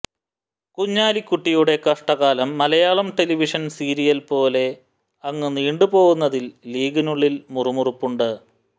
കുഞ്ഞാലിക്കുട്ടിയുടെ കഷ്ടകാലം മലയാളം ടെലിവിഷൻ സീരിയൽപോലെ അങ്ങു നീണ്ടുപോവുന്നതിൽ ലീഗിനുളളിൽ മുറുമുറുപ്പുണ്ട്